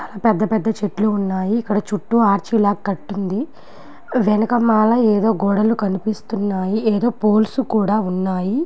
పెద్ద పెద్ద చెట్లు ఉన్నాయి. ఇక్కడ చుట్టూ ఆర్చి లాగా కట్టి ఉంది. వెనుక మాల ఏదో గోడలు కనిపిస్తున్నాయి. ఏదో పోల్స్ కూడా ఉన్నాయి.